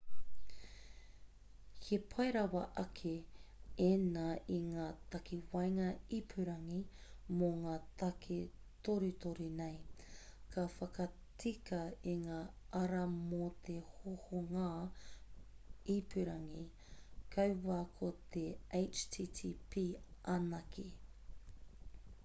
he pai rawa ake ēnā i ngā takawaenga ipurangi mō ngā take torutoru nei ka whakatika i ngā ara mō te hohonga ipurangi kaua ko te http anake